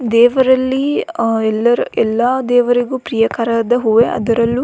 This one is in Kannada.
ದೇವರಲ್ಲೀ ಅ ಎಲ್ಲರ ಎಲ್ಲಾ ದೇವರಿಗು ಪ್ರಿಯಕರದ ಹೂವೆ ಅದರಲ್ಲು --